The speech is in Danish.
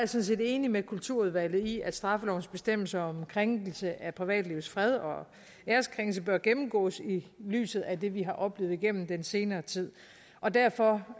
set enig med kulturudvalget i at straffelovens bestemmelser om krænkelse af privatlivets fred og æreskrænkelse bør gennemgås i lyset af det vi har oplevet igennem den senere tid derfor